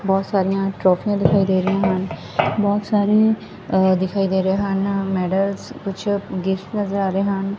ਬਹੁਤ ਸਾਰੀਆਂ ਟਰੋਫੀਆਂ ਦਿਖਾਈ ਦੇ ਰਹੀਆਂ ਹਨ ਬਹੁਤ ਸਾਰੇ ਅ ਦਿਖਾਈ ਦੇ ਰਹੇ ਹਨ ਮੈਡਲਸ ਕੁਛ ਗਿਫਟ ਨਜ਼ਰ ਆ ਰਹੇ ਹਨ।